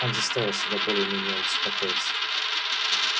он заставил себя более менее успокоиться